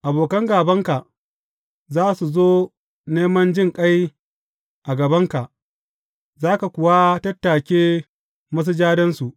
Abokan gābanka za su zo neman jinƙai a gabanka, za ka kuwa tattake masujadansu.